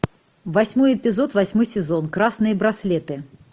восьмой эпизод восьмой сезон красные браслеты